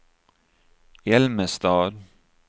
Älmestad